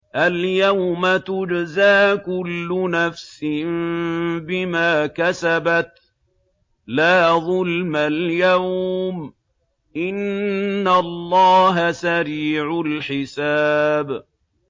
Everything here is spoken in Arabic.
الْيَوْمَ تُجْزَىٰ كُلُّ نَفْسٍ بِمَا كَسَبَتْ ۚ لَا ظُلْمَ الْيَوْمَ ۚ إِنَّ اللَّهَ سَرِيعُ الْحِسَابِ